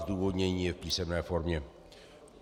Zdůvodnění je v písemné formě.